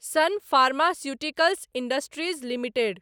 सन pharmaceuticals industries limited